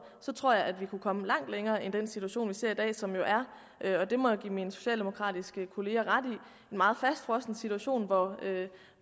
så tror jeg vi kunne komme langt længere end den situation vi ser i dag som jo er og det må jeg give mine socialdemokratiske kollegaer ret i en meget fastfrosset situation